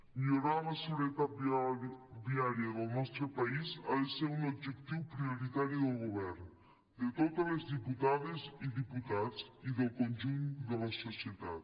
millorar la seguretat viària del nostre país ha de ser un objectiu prioritari del govern de totes les diputades i diputats i del conjunt de la societat